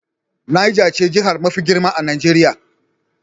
Nijar ce jiha mafi girma a Najeriya.